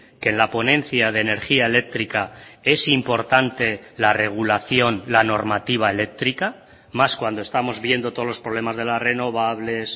que en la ponencia de energía eléctrica es importante la regulación la normativa eléctrica más cuando estamos viendo todos los problemas de las renovables